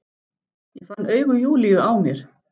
Ég finn augu Júlíu á mér.